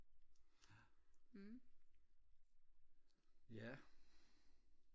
ja